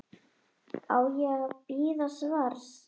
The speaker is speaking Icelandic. Á ég að bíða svars?